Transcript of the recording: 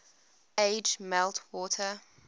age melt water